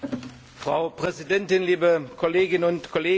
Frau Präsidentin, liebe Kolleginnen und Kollegen!